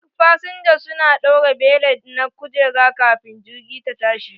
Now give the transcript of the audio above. Duk fasinja su na ɗaura belet na kujera kafin jirgi ta tashi.